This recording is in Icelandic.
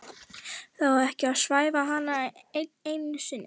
Þarf þá ekki að svæfa hana enn einu sinni?